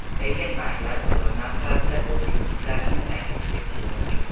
Lekin banklar bozor narxlarida o‘z kreditlarini taklif etishi mumkin.